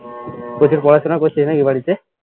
প্রচুর পড়াশোনা করছিস নাকি বাড়িতে